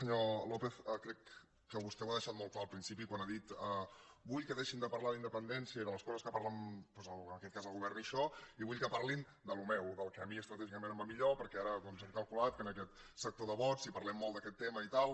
senyor lópez crec que vostè ho ha deixat molt clar al principi quan ha dit vull que deixin de parlar d’independència i de les co·ses que parlen doncs en aquest cas el govern i això i vull que parlin del meu del que a mi estratègicament em va millor perquè ara hem calculat que en aquest sector de vots si parlem molt d’aquest tema i tal